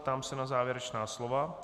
Ptám se na závěrečná slova.